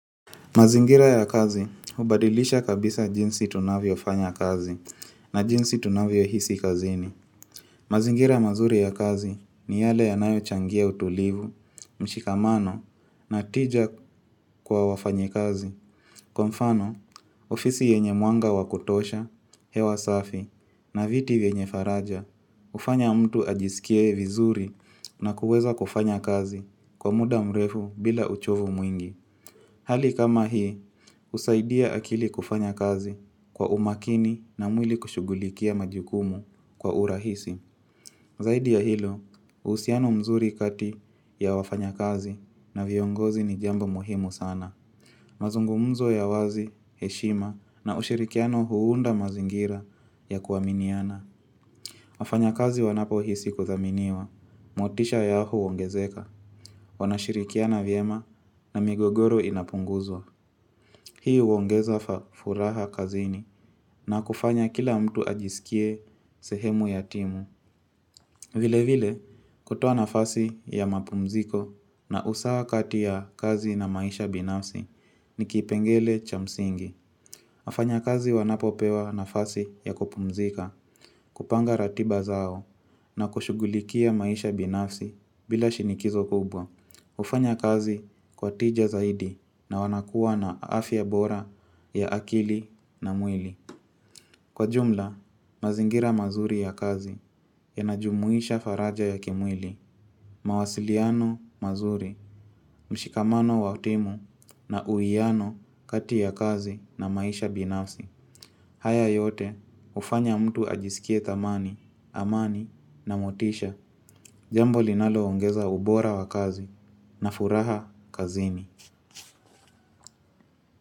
Mazingira ya kazi hubadilisha kabisa jinsi tunavyofanya kazi na jinsi tunavyohisi kazini. Mazingira mazuri ya kazi ni yale yanayochangia utulivu, mshikamano na tija kwa wafanyikazi. Kwa mfano, ofisi yenye mwanga wa kutosha, hewa safi na viti vyenye faraja, hufanya mtu ajisikie vizuri na kuweza kufanya kazi kwa muda mrefu bila uchovu mwingi. Hali kama hii, husaidia akili kufanya kazi kwa umakini na mwili kushughulikia majukumu kwa urahisi. Zaidi ya hilo uhusiano mzuri kati ya wafanyakazi na viongozi ni jambo muhimu sana. Mazungumzo ya wazi, heshima na ushirikiano huunda mazingira ya kuaminiana. Wafanyakazi wanapohisi kuthaminiwa motisha yao huongezeka. Wanashirikiana vyema na migogoro inapunguzwa. Hii huongeza furaha kazini na kufanya kila mtu ajisikie sehemu ya timu. Vile vile kutoa nafasi ya mapumziko na usawa kati ya kazi na maisha binafsi ni kipengele cha msingi. Wafanyakazi wanapopewa nafasi ya kupumzika, kupanga ratiba zao na kushughulikia maisha binafsi bila shinikizo kubwa. hUfanya kazi kwa tija zaidi na wanakuwa na afya ya bora ya akili na mwili. Kwa jumla mazingira mazuri ya kazi yanajumuisha faraja ya kimwili. Mawasiliano mazuri, mshikamano wa timu na uiyano kati ya kazi na maisha binafsi. Haya yote, hufanya mtu ajisikie thamani, amani na motisha. Jambo linalo ongeza ubora wa kazi na furaha kazini.